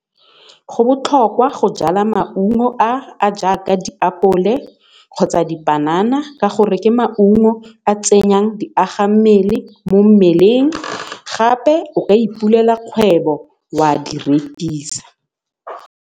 Go botlhokwa go jala maungo a a jaaka diapole kgotsa dipanana ka gore ke maungo a tsenyang di agammele mo mmeleng gape o ka ipulela kgwebo wa di rekisa.